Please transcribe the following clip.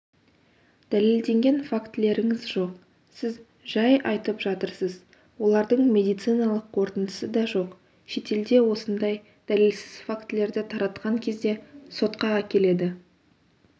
дәлелденген фактілеріңіз жоқ сіз жай айтып жатырсыз олардың медициналық қорытындысы да жоқ шетелде осындай дәлелсіз фактілерді таратқан кезде сотқа әкеледі